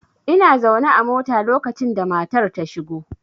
Ina zaune a mota lokacin da matar ta shigo.